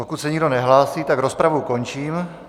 Pokud se nikdo nehlásí, tak rozpravu končím.